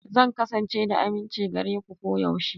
Zan kasance da aminci gare ku koyaushe.